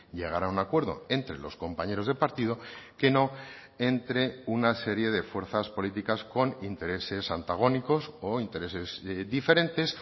llegar a un acuerdo entre los compañeros de partido que no entre una serie de fuerzas políticas con intereses antagónicos o intereses diferentes